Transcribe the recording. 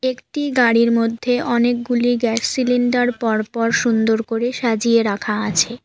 একটি গাড়ির মধ্যে অনেকগুলি গ্যাস সিলিন্ডার পর পর সুন্দর করে সাজিয়ে রাখা আছে।